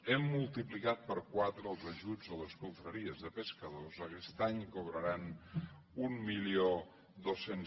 hem multiplicat per quatre els ajuts a les confraries de pescadors aquest any cobraran mil dos cents